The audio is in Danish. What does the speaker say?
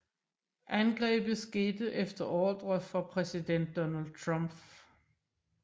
Angrebet skete efter ordre fra præsident Donald Trump